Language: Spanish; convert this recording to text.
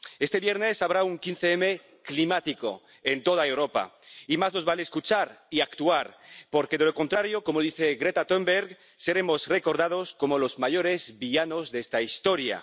Este viernes habrá un 15 M climático en toda Europa y más nos vale escuchar y actuar porque, de lo contrario, como dice Greta Thunberg, seremos recordados como los mayores villanos de esta historia.